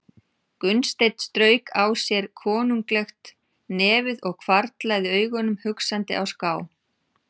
Gunnsteinn strauk á sér konunglegt nefið og hvarflaði augunum hugsandi á ská.